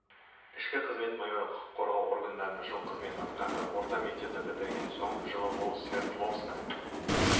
ішкі қызмет майоры құқық қорғау органдарында жыл қызмет атқарды орта мектепті бітірген соң жылы ол свердловск